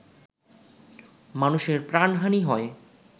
মানুষের প্রাণহানি হয়